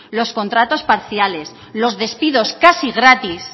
los contratos parciales los despidos casi gratis